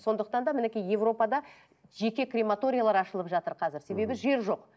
сондықтан да мінекей европада жеке крематориялар ашылып жатыр қазір себебі жер жоқ